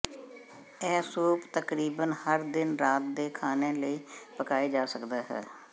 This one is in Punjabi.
ਇਹ ਸੂਪ ਤਕਰੀਬਨ ਹਰ ਦਿਨ ਰਾਤ ਦੇ ਖਾਣੇ ਲਈ ਪਕਾਏ ਜਾ ਸਕਦਾ ਹੈ